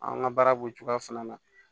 An ka baara b'o cogoya fana na